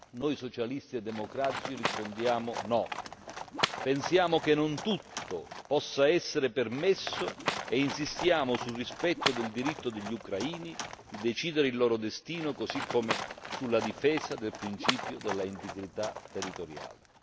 Noi socialisti e democratici rispondiamo no. Pensiamo che non tutto possa essere permesso e insistiamo sul rispetto del diritto degli ucraini di decidere il loro destino così come sulla difesa del principio dell'integrità territoriale.